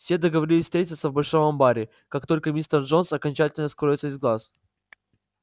все договорились встретиться в большом амбаре как только мистер джонс окончательно скроется из глаз